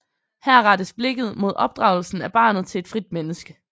Her rettes blikket mod opdragelsen af barnet til et frit menneske